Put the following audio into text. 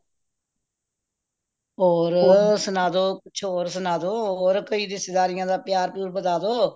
ਹੋਰ ਸੁਨਾਦੋ ਕੁਛ ਹੋਰ ਸੁਨਾਦੋ ਹੋਰ ਕੋਈ ਰਿਸ਼ਤੇਦਾਰੀਆਂ ਦਾ ਪਿਆਰ ਪਿਯੂਰ ਵਧਾ ਦੋ